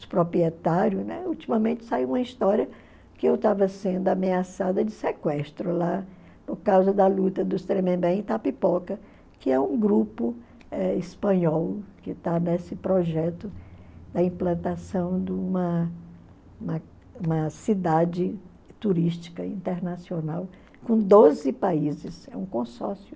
dos proprietários, né, ultimamente saiu uma história que eu estava sendo ameaçada de sequestro lá por causa da luta dos Tremembé em Itapipoca, que é um grupo eh espanhol que está nesse projeto da implantação de uma uma uma cidade turística internacional com doze países, é um consórcio.